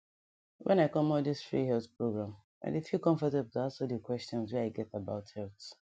when i come all this free health program i dey feel comfortable to ask all the questions wey i get about health